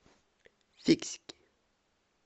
фиксики